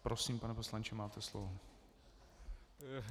Prosím, pane poslanče, máte slovo.